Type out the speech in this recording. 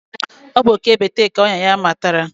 Ọ bụ oké bekee ka ọnyà ya matara.